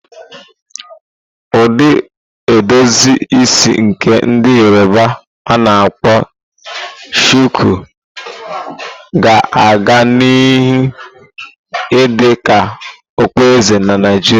Ụdị edozi isi nke ndi Yoroba a-na akpo shuku, ga a-ga nihu idị ka okpueze na Naijiria.